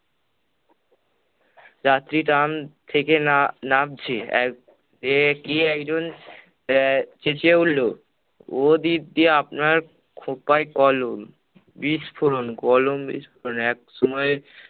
যাত্রী trum থেকে নাম~ নামছে, এক যে কি একজন আহ চেঁচিয়ে উঠল- ও দিদি আপনার খোঁপায় কলম! বিস্ফোরণ কলম বিস্ফোরণ একসময়